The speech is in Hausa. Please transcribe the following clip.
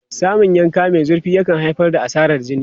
Samun yanka mai zurfi yakan haifar da asarar jini.